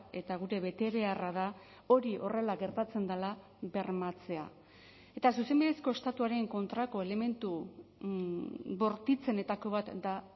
eta gure betebeharra da hori horrela gertatzen dela bermatzea eta zuzenbidezko estatuaren kontrako elementu bortitzenetako bat da